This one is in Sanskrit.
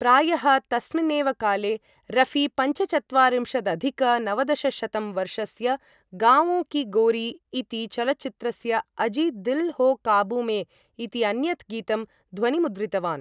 प्रायः तस्मिन् एव काले रफी पञ्चचत्वारिंशदधिक नवदशशतं वर्षस्य 'गावों की गोरी' इति चलच्चित्रस्य अजी दिल हो काबू में इति अन्यत् गीतं ध्वनिमुद्रितवान्।